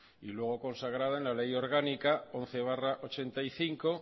y luego consagrado en la ley orgánica once barra ochenta y cinco